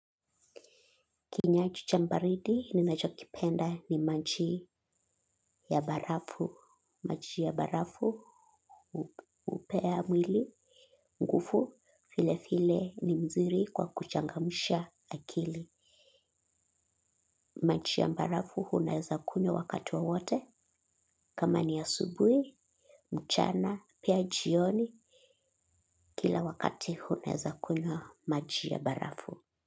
Kinyaji chambaridi ni nachokipenda ni manji ya barafu. Maji ya barafu, upea mwili, ngufu, file file ni mzuri kwa kuchangamusha akili. Maji ya barafu hunaeza kunywa wakati wowote. Kama ni asubui, mchana, pia jioni, kila wakati hunaeza kunywa maji ya barafu.